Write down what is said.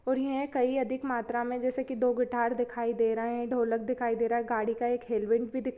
और यहाँ कई अधिक मात्रा में जैसे की दो गिटार दिखाई दे रहे है ढोलक दिखाई दे रहा हैऔर गाड़ी का एक हेलमेट भी --